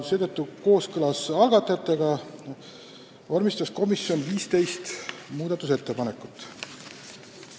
Seetõttu vormistas komisjon kooskõlas algatajatega 15 muudatusettepanekut.